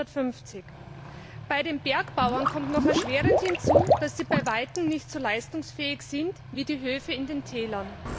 1950. Bei den Bergbauern kommt noch erschwerend hinzu, dass sie bei weitem nicht so leistungsfähig sind wie die Höfe in den Tälern.